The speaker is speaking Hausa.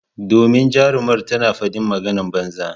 Domin jarumar tana fadin maganan banza.